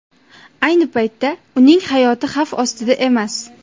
Ayni paytda uning hayoti xavf ostida emas.